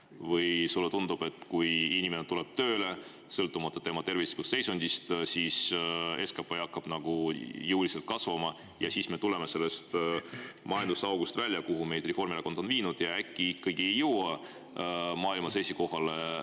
Või sulle tundub, et kui inimene tuleb tööle, sõltumata tervislikust seisundist, siis SKP hakkab jõuliselt kasvama ja me tuleme välja sellest majandusaugust, kuhu Reformierakond meid on viinud, ja äkki ikkagi ei jõua maailmas esikohale, vaid jääme teisele …